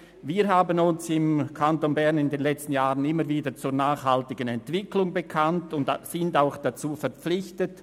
Wir haben uns im Kanton Bern in den letzten Jahren immer wieder zu einer nachhaltigen Entwicklung bekannt und sind auch dazu verpflichtet.